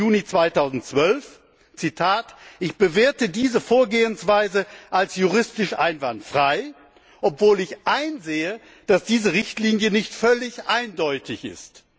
13. Juni 2012, Zitat Ich bewerte diese Vorgehensweise als juristisch einwandfrei, obwohl ich einsehe, dass diese Richtlinie nicht völlig eindeutig ist.